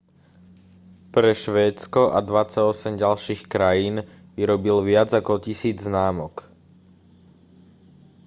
pre švédsko a 28 ďalších krajín vyrobil viac ako 1000 známok